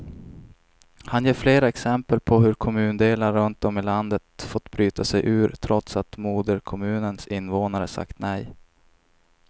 Han ger flera exempel på hur kommundelar runt om i landet fått bryta sig ur, trots att moderkommunens invånare sagt nej.